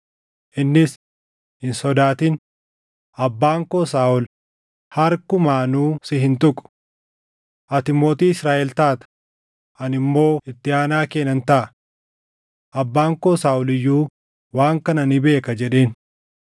Innis, “Hin sodaatin; abbaan koo Saaʼol harkumaanuu si hin tuqu. Ati mootii Israaʼel taata; ani immoo itti aanaa kee nan taʼa. Abbaan koo Saaʼol iyyuu waan kana ni beeka” jedheen.